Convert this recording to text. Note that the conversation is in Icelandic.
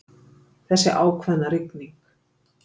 Þessi ákveðna rigning.